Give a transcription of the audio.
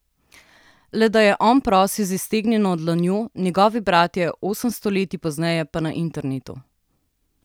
Le da je on prosil z iztegnjeno dlanjo, njegovi bratje osem stoletij pozneje pa na internetu.